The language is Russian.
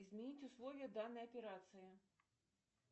изменить условия данной операции